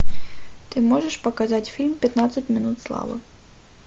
ты можешь показать фильм пятнадцать минут славы